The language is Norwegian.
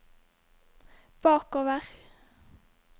bakover